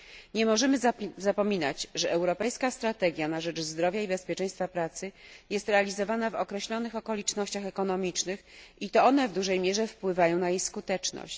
Nie możemy zapominać, że europejska strategia na rzecz zdrowia i bezpieczeństwa pracy jest realizowana w określonych okolicznościach ekonomicznych i to one w dużej mierze wpływają na jej skuteczność.